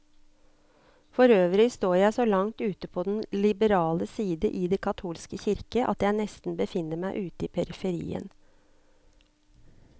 Forøvrig står jeg så langt ute på den liberale side i den katolske kirke, at jeg nesten befinner meg ute i periferien.